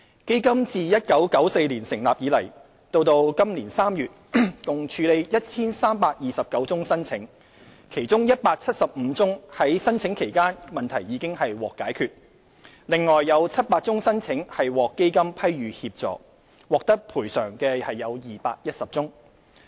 基金自1994年成立以來，截至2017年3月，共處理 1,329 宗申請，其中175宗在申請期間問題已獲解決，另外有700宗申請獲基金批予協助，獲得賠償的有210宗。